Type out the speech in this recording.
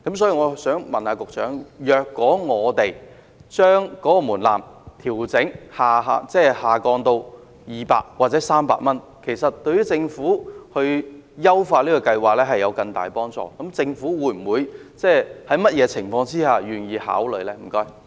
請問局長，既然把門檻下調至200元或300元對政府優化計劃有更大幫助，政府在甚麼情況下才願意予以考慮呢？